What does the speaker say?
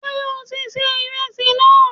Sé o ti ṣe ìresì náà?